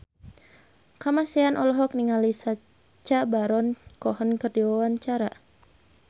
Kamasean olohok ningali Sacha Baron Cohen keur diwawancara